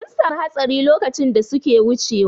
Sun samu hatsari lokacin da suke wucewa.